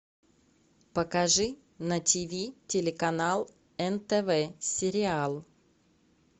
покажи на тв телеканал нтв сериал